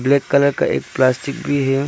Red colour का एक plastic भी है।